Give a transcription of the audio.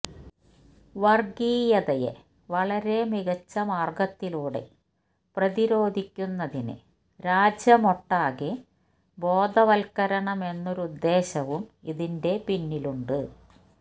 വര്ഗീയതയെ വളരെ മികച്ച മാര്ഗത്തിലൂടെ പ്രതിരോധിക്കുന്നതിന് രാജ്യമൊട്ടാകെ ബോധവത്കരണമെന്നൊരുദ്ദേശവും ഇതിന്റെ പിന്നിലുണ്ട്